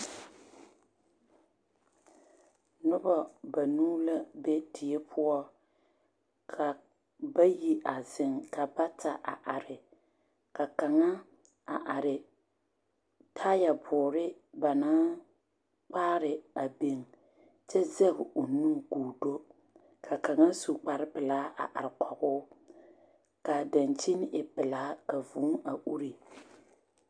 Noba banuu la be die poɔ ka bayi a zeŋ ka bata a are ka kaŋa a are taayɛboore ba naŋ koaare a biŋ kyɛ zɛɡe o nu ka o do ka kaŋa su kparpelaa a are kɔɡe o ka a daŋkyini e pelaa ka vūū a uri.